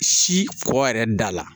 Si kɔ yɛrɛ da la